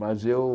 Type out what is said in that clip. Mas eu...